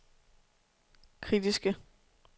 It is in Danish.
kritiske